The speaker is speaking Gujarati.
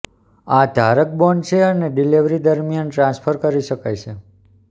આ ધારક બોન્ડ છે અને ડિલીવરી દરમિયાન ટ્રાન્સફર કરી શકાય છે